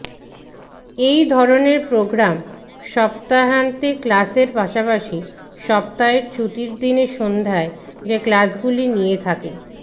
এই ধরনের প্রোগ্রাম সপ্তাহান্তে ক্লাসের পাশাপাশি সপ্তাহের ছুটির দিনে সন্ধ্যায় যে ক্লাসগুলি নিয়ে থাকে